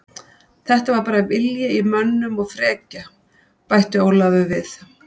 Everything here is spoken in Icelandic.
Þetta var bara vilji í mönnum og frekja, bætti Ólafur við.